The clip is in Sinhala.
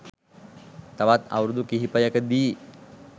තවත් අවුරුදු කිහිපයකදී